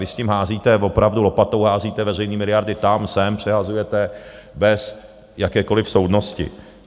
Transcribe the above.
Vy s tím házíte opravdu lopatou, házíte veřejný miliardy tam, sem, přehazujete bez jakékoliv soudnosti.